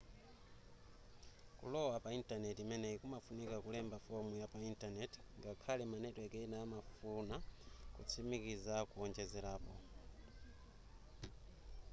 kulowa pa netiweki imeneyi kumafunika kulemba fomu yapa intanenti ngakhale ma netiweki ena amafuna kutsimikiza kowonjezerapo